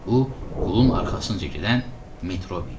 Bu qulun arxasınca gedən Metrobi idi.